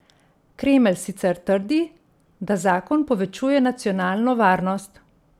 Kremelj sicer trdi, da zakon povečuje nacionalno varnost.